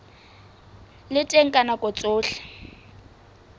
le teng ka nako tsohle